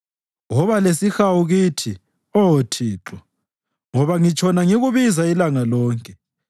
Woba lesihawu kimi, Oh Thixo, ngoba ngitshona ngikubiza ilanga lonke.